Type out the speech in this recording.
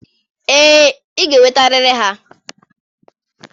Ee, ị ga-enwetarịrị ha.